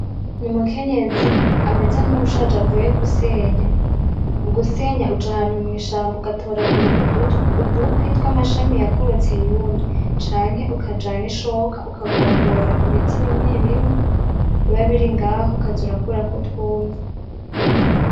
Ni umukenyezi ameze nkuwushaje avuye gusenya. Mu gusenya uja ahantu mw'ishamba ugatoragura udukwi twamashami yumye canke ukajana ishoka ukagombora ibiti bimwe bimwe biba biri ngaho ukaza urakurako utwumye.